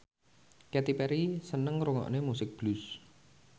Katy Perry seneng ngrungokne musik blues